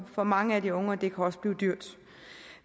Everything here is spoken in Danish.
for mange af de unge og det kan også blive dyrt